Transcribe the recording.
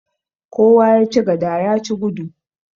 Kowa ya ci gada ya ci gudu.